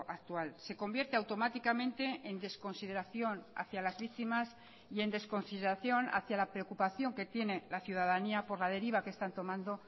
actual se convierte automáticamente en desconsideración hacia las víctimas y en desconsideración hacia la preocupación que tiene la ciudadanía por la deriva que están tomando